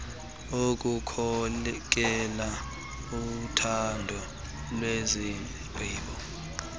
ukukhokela uthatho lwezigqibo